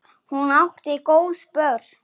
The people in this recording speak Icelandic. Hún átti góð börn.